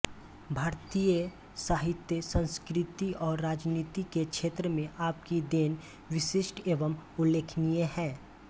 भारतीय साहित्य संस्कृति और राजनीति के क्षेत्र में आपकी देन विशिष्ट एवं उल्लेखनीय है